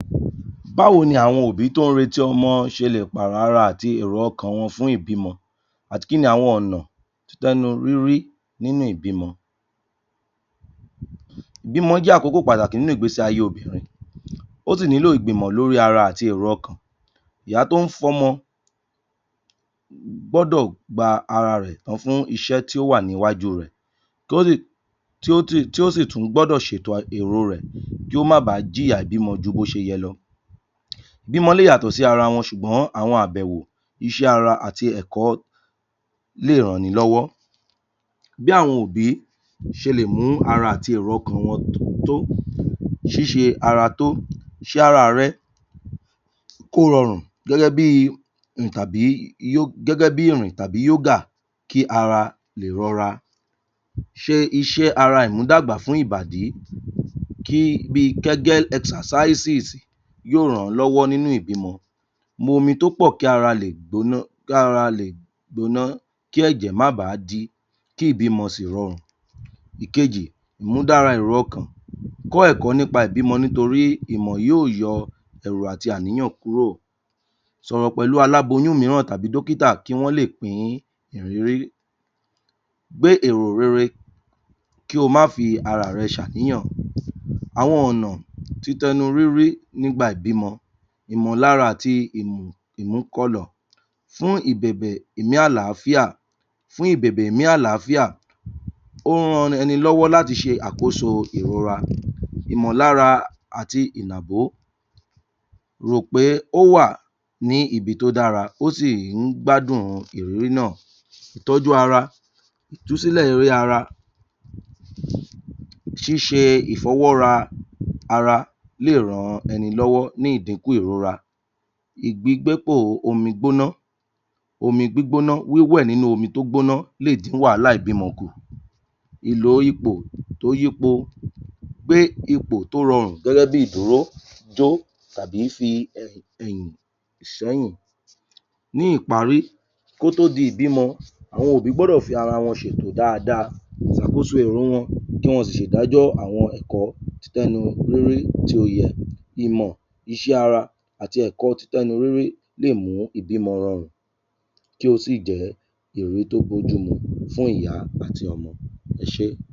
Báwo ni àwọn òbí tó ń retí ọmọ ṣe lè pààrọ̀ ara àti èrò ọkàn wọn fún ìbímọ àti kí ni àwọn ọ̀nà tẹ́nu rírí nínú ìbímọ ìbímọ jẹ́ àkókò pàtàkì nínú ìgbésíayé obìrin ó sì nílò ìgbìmọ̀ lórí ara àti èrò ọkàn ìyá tó ń fọmọ gbọ́dọ̀ gba ara rẹ̀ tán fún iṣẹ́ tí ó wà níwájú rẹ̀ um tí ó sì tú gbọdọ̀ ṣètò um èròo rẹ̀ kí ó má baà j'ìyà ìbímọ ju bó ṣe yẹ lọ ìbímọ lè yàtọ̀ sí ara wọn ṣùgbọ́n àwọn àbẹ̀wò iṣẹ́ ara àti ẹ̀kọ́ lè ran'ni lọ́wọ́. Bí àwọn òbí ṣe lè mú ara àti èrò ọkàn wọn um tó ṣíṣe ara tó ṣe ara-àrẹ kó rọrùn gẹ́gẹ́ bíi um gẹ́gẹ́ bí ìrìn tàbí yógà kí ara lè rọra ṣe iṣẹ́ ara ìmúdàgbà fún ìbàdí um bíi kẹ́gá ẹsasáìsì yóò ràn-án lọ́wọ́ nínú ìbímọ mu omi tópọ̀ kí ara lè gbóná kára lè gbóná kí ẹ̀jẹ̀ má ba àá dí kí ìbímọ sì rọrùn ìkejì ìmúdára èrò ọkàn kọ́ ẹ̀kọ́ nípa ìbímọ nítorí ìmọ̀ yóò yọ ẹ̀rù àti àníyàn kúrò sọ̀rọ̀ pẹ̀lú aláboyún mìíràn tàbí dọ́kítà kí wọ́n lè pín ìrírí gbé èrò rere kí o má fi ara-àrẹ ṣàníyàn. Àwọn ọ̀nà ti tẹnu rírí nígbà ìbímọ ìmọ̀lára àti um inúkọ̀lọ̀ fún ìbèbè ìmí àlááfíà fún ìbèbè ìmí àlááfíà ó ń ran ẹni lọ́wọ́ láti ṣe àkóso ìrora Ìmọ̀lára àti ìnàbó rò pé ó wà ní ibi tó dára ó sì ń gbádùn un ìrírí náà. Ìtọ́jú ara ìtúsílẹ̀ orí ara ṣíṣe ìfọwọ́ ra ara lè ran ẹni lọ́wọ́ ní ìdíkùn ìrora ìgbígbépò omií gbóná omi gbígbóná, wíwẹ̀ nínú omi tó gbóná lè dín wàhálà ìbímọ kùn Ìlò ipò tó yípo pé ipò tó rọrùn gẹ́gẹ́ bí ìdúró jó tàbí fi um ẹ̀yìn s'ọ́yìn ní ìparí, kó tó di ìbímọ àwọn òbí gbọ́dọ̀ fara wọn ṣètò dáadáa ṣàkóso ìrun wọn kí wọn sì ṣè'dájọ́ àwọn ẹ̀kọ́ tẹ́nu lórí tí ó yẹ ìmọ̀ iṣẹ́ ara àti ẹ̀kọ́ ti tẹ́nu rírí lè mú ìbímọ rọrùn kí ó sì jẹ́ ìrírí tó bójúmu fún ìyá àti ọmọ. Ẹ ṣé